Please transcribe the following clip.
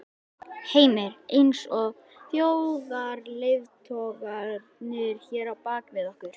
Heimir: Eins og þjóðarleiðtogarnir hér á bak við okkur?